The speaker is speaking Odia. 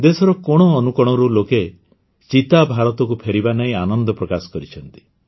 ଦେଶର କୋଣ ଅନୁକୋଣରୁ ଲୋକେ ଚିତା ଭାରତକୁ ଫେରିବା ନେଇ ଆନନ୍ଦ ପ୍ରକାଶ କରିଛନ୍ତି